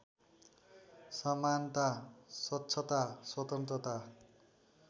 समानता स्वच्छता स्वतन्त्रता